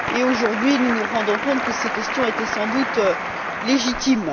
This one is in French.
Aujourd'hui, nous nous rendons compte que ces questions étaient sans doute légitimes.